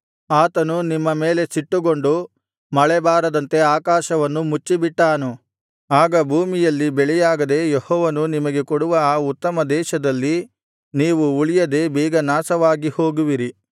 ಆತನು ನಿಮ್ಮ ಮೇಲೆ ಸಿಟ್ಟುಗೊಂಡು ಮಳೆಬಾರದಂತೆ ಆಕಾಶವನ್ನು ಮುಚ್ಚಿಬಿಟ್ಟಾನು ಆಗ ಭೂಮಿಯಲ್ಲಿ ಬೆಳೆಯಾಗದೆ ಯೆಹೋವನು ನಿಮಗೆ ಕೊಡುವ ಆ ಉತ್ತಮ ದೇಶದಲ್ಲಿ ನೀವು ಉಳಿಯದೆ ಬೇಗ ನಾಶವಾಗಿ ಹೋಗುವಿರಿ